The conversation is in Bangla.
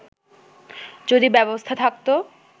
যদি ব্যবস্থা থাকতো